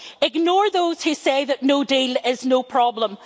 Ignore those who say that no-deal is no problem.